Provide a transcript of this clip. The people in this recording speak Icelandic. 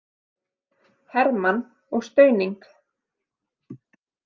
Hermann og Stauning?